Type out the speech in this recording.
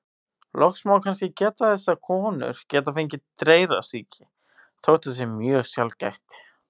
Loks má kannski geta þess að konur geta fengið dreyrasýki, þótt það sé mjög sjaldgæft.